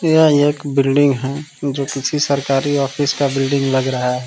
यह एक बिल्डिंग है जो किसी सरकारी ऑफिस का बिल्डिंग लग रहा है।